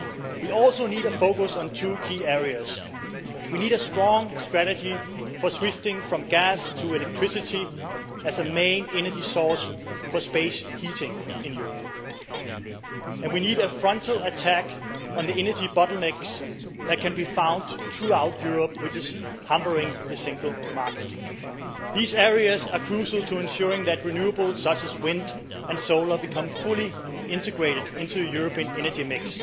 We also need a focus on two key areas we need a strong strategy for shifting from gas to electricity as a main energy source for space heating in Europe, and we need a frontal attack on the energy bottlenecks that can be found throughout Europe, which are hampering the single market. These areas are crucial to ensuring that renewables such as wind and solar become fully integrated into the European energy mix.